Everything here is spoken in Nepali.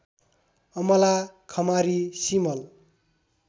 अमला खमारी सिमल